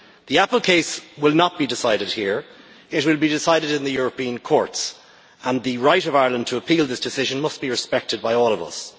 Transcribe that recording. The Apple case will not be decided here, it will be decided in the European courts and the right of Ireland to appeal this decision must be respected by all of us.